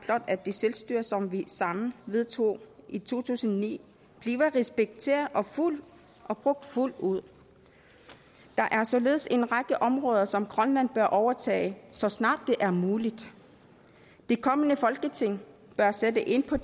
at det selvstyre som vi sammen vedtog i to tusind og ni bliver respekteret og brugt fuldt ud der er således en række områder som grønland bør overtage så snart det er muligt det kommende folketing bør sætte ind på